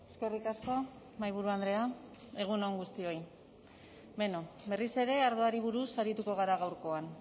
eskerrik asko mahaiburu andrea egun on guztioi beno berriz ere ardoari buruz arituko gara gaurkoan